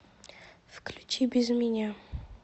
включи без меня